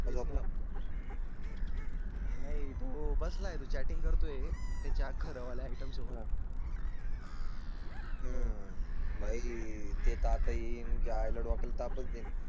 तुम्हाला. नाही तो बसला आहे. तो चॅटिंग करतोय. त्याच्या आइटम. हम्म भाई ते येईल च्यायला डोक्याला तापच देईल